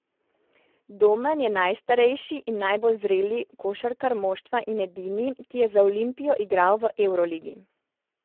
Domen je najstarejši in najbolj zreli košarkar moštva in edini, ki je za Olimpijo igral v evroligi.